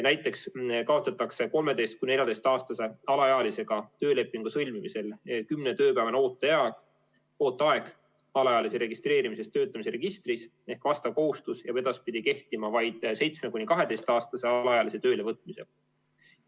Näiteks kaotatakse 13–14-aastase alaealisega töölepingu sõlmimisel 10-tööpäevane ooteaeg alaealise registreerimisest töötamise registris ehk vastav kohustus jääb edaspidi kehtima vaid 7–12-aastase alaealise töölevõtmisel.